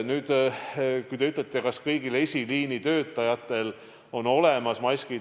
Te küsisite, kas kõigil esiliinitöötajatel on olemas maskid.